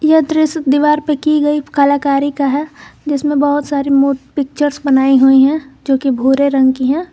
यह दृश्य दीवार पर की गई कलाकारी का है जिसमें बहोत सारी मु पिक्चर्स बनाई हुई है जो कि भूरे रंग की है।